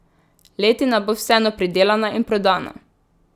Letina bo vseeno pridelana in prodana.